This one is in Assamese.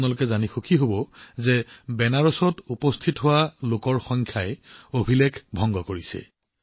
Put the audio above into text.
আপোনালোকেও জানিব বিচাৰিছে যে বেনাৰসলৈ অহা লোকৰ সংখ্যাও অভিলেখ ভংগ কৰি আছে